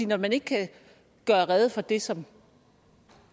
når man ikke kan gøre rede for det som